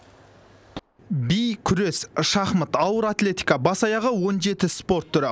би күрес шахмат ауыр атлетика бас аяғы он жеті спорт түрі